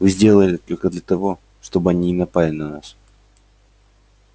вы сделали это только для того чтобы они не напали на нас